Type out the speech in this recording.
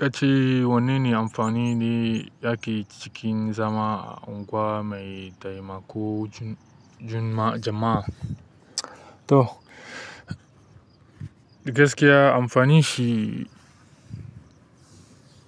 Kace wanene amfanin da yake cikin zama unguwa mai taimako jama'a? To, gaskiya amfanin shi,